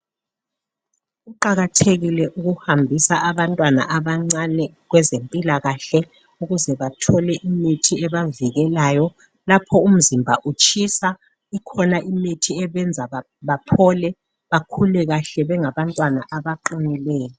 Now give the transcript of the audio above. Kuqakathekile ukuhambisa abantwana abancane kwezempilakahle ukuze bathole imithi ebavikelayo lapho umizimba utshisa ikhona imithi ebenza baphole bakhule kahle bengabantwana abaqinileyo.